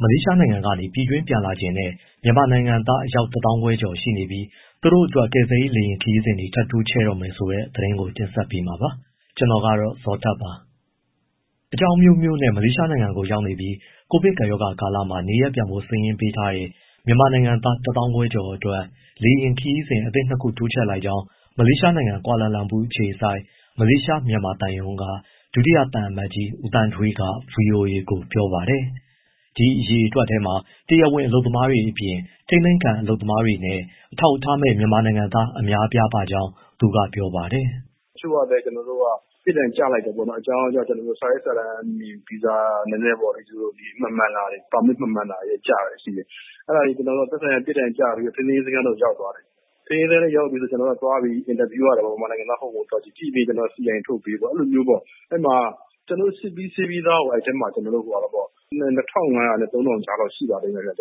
မလေးရှားနိုင်ငံကနေ ပြည်တွင်းပြန်လာချင်တဲ့ မြန်မာနိုင်ငံသား အယောက် ၁၅,၀၀၀ ကျော်ရှိနေပြီး သူတို့အတွက် ကယ်ဆယ်ရေး လေယာဉ်ခရီးစဉ်တွေ ထပ်တိုးတော့မယ်ဆိုတဲ့ သတင်းကို ကိုဇော်ထက်တင်ဆက်ပေးမှာပါ။ အကြောင်းအမျိုးမျိုးနဲ့ မလေးရှားနိုင်ငံကို ရောက်နေပြီး ကိုဗစ်ကပ်ရောဂါကာလမှာ နေရပ်ပြန်ဖို့ စာရင်းပေးထားတဲ့ မြန်မာနိုင်ငံသား ၁၅,၀၀၀ကျော်အတွက် လေယာဉ်ခရီးစဉ် အသစ် ၂ ခုတိုးမြှင့်လိုက်ကြောင်း မလေးရှားနိုင်ငံ၊ ကွာလာလမ်ပူအခြေစိုက် မြန်မာသံရုံးက ဒုတိယသံအမတ်ကြီး ဦးသန်းထွေးက ဗွီအိုအေကို ပြောပါတယ်။ ဒီအရေအတွက်ထဲမှာ တရားဝင်အလုပ်သမားတွေအပြင် ထိန်းသိမ်းခံလုပ်သားတွေနဲ့ အထောက်အထားမဲ့ မြန်မာနိုင်ငံသား အများအပြားပါကြောင်း သူက ပြောပါတယ်။ “တချို့ကလည်း ပြစ်ဒဏ်ကျလိုက်တယ်ပေါ့နော် အကြောင်းကြောင်းကြောင့် စာရွက်စာတမ်းပေါ့ နည်းနည်း မမှန်တာတွေ၊ ပါမစ်မမှန်တာတွေ၊ ကျတာရှိတယ်။ အဲဒါတွေ သက်ဆိုင်ရာ ပြစ်ဒဏ်ကျပြီး ထိန်းသိမ်းရေးစခန်းထဲ ရောက်သွားတယ်၊ ထိန်းသိမ်းရေး စခန်းထဲရောက်ရင် ကျနော်တို့ကသွားပြီး အင်တာဗျူးရတယ် မြန်မာနိုင်ငံသား ဟုတ်၊ မဟုတ်ကြည့်ပြီး CI ထုတ်ပေးပေါ့။ ကျနော်တို့ စစ်ပြီးဆေးပြီးသားကို ၂၅၀၀ နဲ့ ၃၀၀၀ ကြားလောက် ရှိပါတယ်ခင်ဗျ၊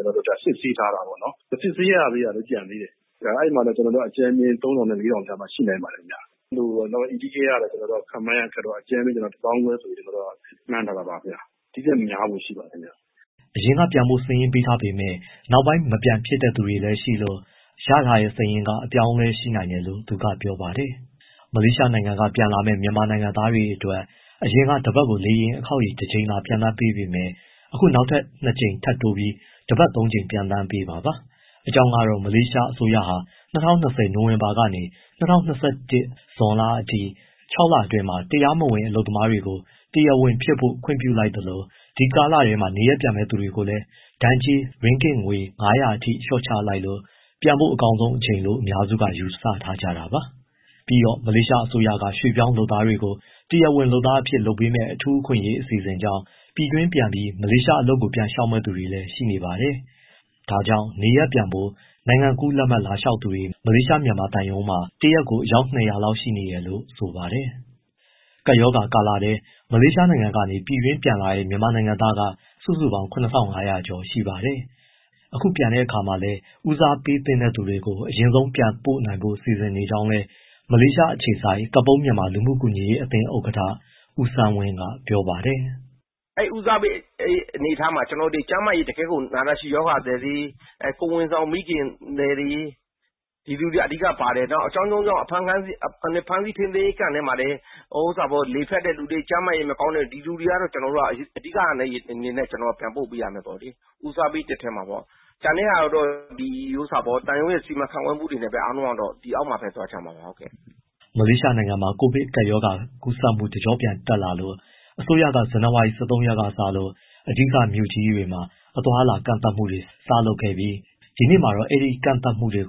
စစ်ဆေးထားတာပေါ့နော်။ မစစ်ဆေးတာလည်း ကျန်သေးတယ်။ အဲဒီမှာလည်း အကြမ်းဖျင်း ၃၀၀၀ နဲ့ ၄၀၀၀ ကြားမှာ ရှိနိုင်ပါတယ်။ Illegal ကတော့ ခန့်မှန်းရခက်တော့ အကြမ်းဖျင်း ၁၅,၀၀၀ ဆိုပြီးတော့ မှန်းထားတာပါ။ ဒီထက်များဖို့ရှိပါတယ်။” အရင်က ပြန်ဖို့စာရင်းပေးထားပေမဲ့ နောက်ပိုင်းမပြန်ဖြစ်တဲ့သူတွေလည်း ရှိလို့ ရထားတဲ့စာရင်းက အပြောင်းအလဲရှိနိုင်တယ်လို့ သူကပြောပါတယ်။ မလေးရှားနိုင်ငံက ပြန်လာမယ့် မြန်မာနိုင်ငံသားတွေအတွက် အရင်က တပတ်ကို လေယာဉ် အခေါက်ရေ တကြိမ်သာပျံသန်းပေးပေမဲ့ အခုနောက်ထပ် နှစ်ကြိမ် ထပ်တိုးပြီး တပတ်သုံးကြိမ် ပျံသန်းပေးမှာပါ။ အကြောင်းကတော့ မလေးရှားအစိုးရဟာ ၂၀၂၀ နိုဝင်ဘာကနေ ၂၀၂၁ ဇွန်လအထိ ၆ လအတွင်းမှာ တရားမဝင်လုပ်သားတွေ တရားဝင်ဖြစ်ဖို့ ခွင့်ပြုလိုက်သလို ဒီကာလထဲ နေရပ်ပြန်မယ့်သူတွေကိုလည်း ဒဏ်ကြေးရင်းဂစ်ငွေ ၅၀၀ အထိ လျှော့ချလိုက်လို့ ပြန်ဖို့အကောင်းဆုံးအချိန်လို့ အများစုက ယူဆထားကြတာပါ။ ပြီးတော့ မလေးရှားအစိုးရက ရွှေ့ပြောင်းလုပ်သားတွေကို တရားဝင်လုပ်သားအဖြစ် လုပ်ပေးမယ့် အထူးအခွင့်အရေး အစီအစဉ်ကြောင့် ပြည်တွင်းပြန်ပြီး မလေးရှားအလုပ်ကို ပြန်လျှောက်မယ့် သူတွေလည်း ရှိနေပါတယ်။ ဒါကြောင့် နေရပ်ပြန်ဖို့ နိုင်ငံကူးလက်မှတ် လာလျှေက်သူတွေ မလေးရှားမြန်မာသံရုံးမှာ တရက်ကို အယောက် ၂၀၀ လောက်ရှိနေတယ်လို့ ဆိုပါတယ်။ ကပ်ရောဂါကာလထဲ မလေးရှားနိုင်ငံကနေ ပြည်တွင်းပြန်လာတဲ့ မြန်မာနိုင်ငံသားက စုစုပေါင်း ၇၅၀၀ ကျော်ရှိပါတယ်။ အခုပြန်တဲ့အခါမှာလည်း ဦးစားပေးသင့်သူတွေကို အရင်ဆုံးပြန်ပို့နိုင်ဖို့ စီစဉ်နေကြောင်းလည်း မလေးရှားအခြေစိုက် ကပုန်းမြန်မာလူမှုကူညီရေးအသင်း ဥက္ကဋ္ဌ ဦးဆန်းဝင်းက ပြောပါတယ်။ “အဲဒီ ဦးစားပေးအနေအထားမှာ တကယ်ကို နာတာရှည်ရောဂါသည်တွေ၊ ကိုယ်ဝန်ဆောင်မိခင်တွေ၊ ဒီလူတွေက အဓိကပါတယ်။ နောက်ပြီး အကြောင်းကြောင်းကြောင့် ဖမ်းဆီး ထိန်းသိမ်းရေး camp ထဲမှာလည်း လေဖြတ်တဲ့သူတွေ၊ ကျန်းမာရေးမကောင်းတဲ့သူတွေ ဒီလူတွေက အဓိကအနေနဲ့ ပြန်ပို့ပေးရမယ်ပေါ့။ ဦးစားပေး ထဲမှာ။ ကျန်တဲ့ဟာကတော့ သံရုံးရဲ့ စီမံခန့်ခွဲမှုနဲ့ အားလုံးက ဒီအောက်မှာပဲသွားကြမှာပေါ့။” မလေးရှားနိုင်ငံမှာ ကိုဗစ်ကပ်ရောဂါကူးစက်မှု တကြော့ပြန်တက်လာလို့ အစိုးရက ဇန်နဝါရီ ၁၃ ရက်စလို့ အဓိကမြို့ကြီးတွေမှာ အသွားအလာ ကန့်သတ်မှုတွေ စလုပ်ခဲ့ပြီး ဒီနေ့မှာတော့ အဲဒီကန့်သတ်မှုကို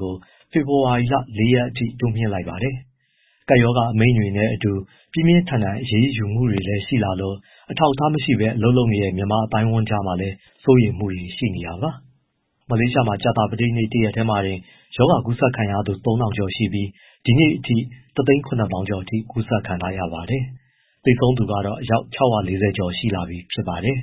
ဖေဖော်ဝါရီလ ၄ ရက်အထိ တိုးမြှင့်လိုက်ပါတယ်။ ကပ်ရောဂါ အမိန့်တွေနဲ့အတူ ပြင်းပြင်းထန်ထန် အရေးယူမှုတွေလည်းရှိလာလို့ အထောက်အထားမရှိဘဲ အလုပ်လုပ်နေတဲ့ မြန်မာအသိုင်းအဝန်းကြားမှာလည်း စိုးရိမ်မှုတွေ ရှိနေတာပါ။ မလေးရှားမှာ ကြာသပတေးနေ့ တရက်တည်းမှာတင် ရောဂါကူးစက်ခံရသူ ၃၀၀၀ ကျော်ပြီး ဒီနေ့အထိ ၁၇၀၀၀၀ ကျော်ကူးစက်ခံထားရပါတယ်။ သေဆုံးသူကတော့ အယောက် ၆၄၀ ကျော်လာပြီဖြစ်ပါတယ်။